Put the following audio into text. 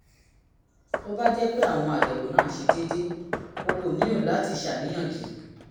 tó bá jẹ́ pé àwọn àyẹ̀wò náà ṣe déédé o kò nílò láti ṣàníyàn jù